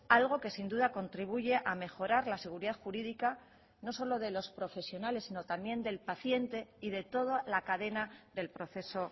algo que sin duda contribuye a mejorar la seguridad jurídica no solo de los profesionales sino también del paciente y de toda la cadena del proceso